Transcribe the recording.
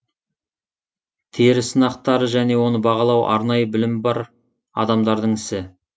тері сынақтары және оны бағалау арнайы білімі бар адамдардың ісі